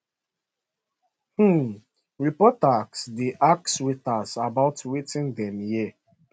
um reporters dey ask waiters about wetin dem hear